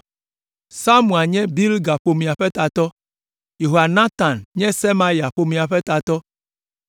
Samua nye Bilga ƒomea ƒe tatɔ, Yehonatan nye Semaya ƒomea ƒe tatɔ,